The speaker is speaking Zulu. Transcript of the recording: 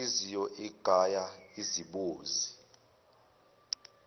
inhliziyo igaya izibozi